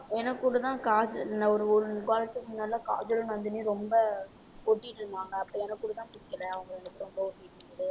எனக்குகூட தான் காஜ~ அஹ் ஒரு ஒரு வாரத்துக்கு முன்னாடிலாம் காஜல் நந்தினி ரொம்ப ஒட்டிட்டு இருந்தாங்க. அப்ப எனக்குக்கூட தான் பிடிக்கலை அவங்க ரெண்டு பேரும்